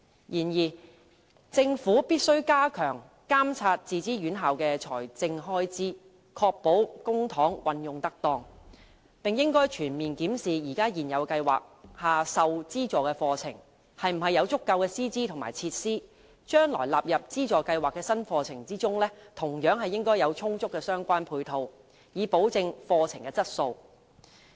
然而，政府必須加強監察自資院校的財政開支，確保公帑運用得當，並應全面檢視現有計劃下受資助的課程是否有足夠的師資和設施，而將來納入資助計劃的新課程，同樣應有充足的相關配套，以保證課程的質素。